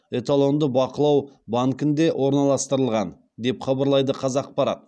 эталонды бақылау банкінде орналастырылған деп хабарлайды қазақпарат